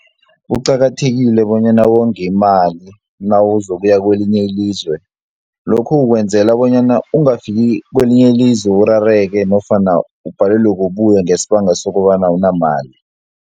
Kuqakathekile bonyana wonge imali nawuzokuya kwelinye ilizwe lokhu ukwenzela bonyana ungafiki kwelinye ilizwe urareke nofana ubhalelwe kubuya ngesibanga sokobana awunamali.